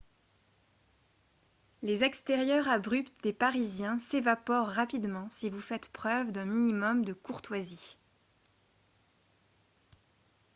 les extérieurs abrupts des parisiens s'évaporent rapidement si vous faites preuve d'un minimum de courtoisie